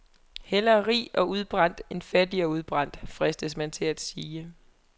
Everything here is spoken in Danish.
Hellere rig og udbrændt end fattig og udbrændt, fristes man til at sige.